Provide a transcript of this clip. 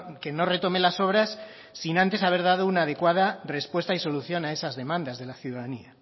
que no retome las obras sin antes haber dado una adecuada respuesta y solución a esas demandas de la ciudadanía